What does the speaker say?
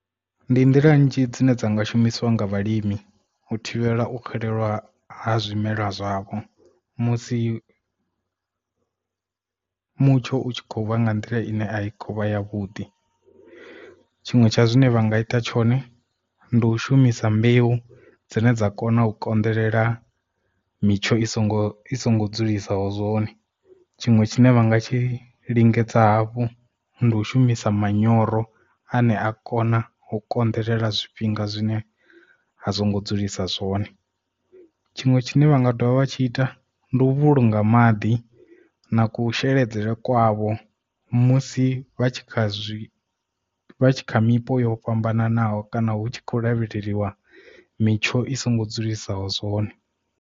Ndi nḓila nnzhi dzine dza nga shumisiwa nga vhalimi u thivhela u xelelwa ha zwimelwa zwavho musi mutsho utshi kho vha nga nḓila ine a i kho vha ya vhuḓi tshiṅwe tsha zwine vha nga ita tshone ndi u shumisa mbeu dzine dza kona u konḓelela mitsho i songo i songo dzulesaho zwone tshiṅwe tshine vhanga tshi lingedza hafhu ndi u shumisa manyoro a ne a kona ha u konḓelela zwifhinga zwine a zwongo dzulisa zwone tshiṅwe tshine vha nga dovha vha tshi ita ndi u vhulunga maḓi na kusheledzele kwavho musi vha tshi kha zwi kha mipo yo fhambananaho kana hu tshi khou lavhelelwa mitsho i songo dzulisaho zwone.